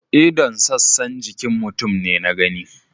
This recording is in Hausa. ldon' sassan jikin mutum ne na gani.